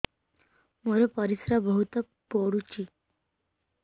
ମୋର ପରିସ୍ରା ବହୁତ ପୁଡୁଚି